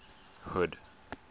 hood